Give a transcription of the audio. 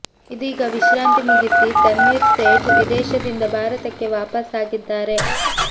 ಇದೀಗ ವಿಶ್ರಾಂತಿ ಮುಗಿಸಿ ತನ್ವೀರ್ ಸೇಠ್ ವಿದೇಶದಿಂದ ಭಾರತಕ್ಕೆ ವಾಪಸ್ ಆಗಿದ್ದಾರೆ